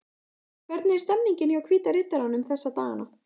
Hvernig er stemningin hjá Hvíta Riddaranum þessa dagana?